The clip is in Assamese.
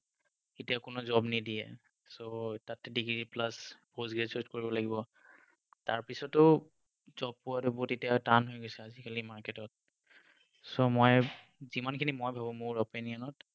এতিয়া কোনেও job নিদিয়ে so তাত degree plus post graduate কৰিব লাগিব তাৰ পাছতো job পোৱাটো বহুত এতিয়া টান হৈ গৈছে আজিকালি market ত so মই যিমানখিনি মই ভাবো মোৰ opinion ত